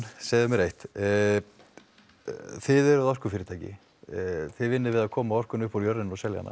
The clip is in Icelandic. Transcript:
segðu mér eitt þið eruð orkufyrirtæki þið vinnið við að koma orkunni upp úr jörðinni og selja hana